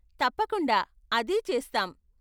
తప్పకుండా, అదే చేస్తాం.